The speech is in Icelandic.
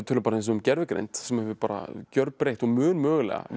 um gervigreind sem hefur gjörbreytt og mun mögulega vera